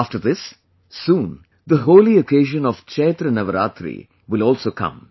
After this, soon the holy occasion of Chaitra Navratri will also come